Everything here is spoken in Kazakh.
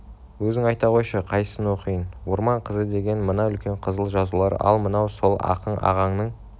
өзің айта қойшы қайсысын оқиын орман қызыдеген мына үлкен қызыл жазулар ал мынау сол ақын ағаңның